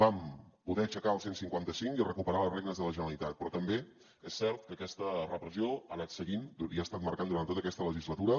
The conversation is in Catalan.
vam poder aixecar el cent i cinquanta cinc i recuperar les regnes de la generalitat però també és cert que aquesta repressió ha anat seguint i ha estat marcant durant tota aquesta legislatura